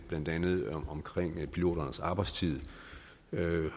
blandt andet piloternes arbejdstid